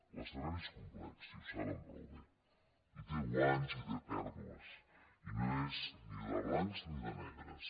l’escenari és complex i ho saben prou bé i té guanys i té pèrdues i no és ni de blancs ni de negres